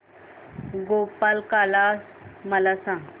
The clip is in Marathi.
गोपाळकाला मला सांग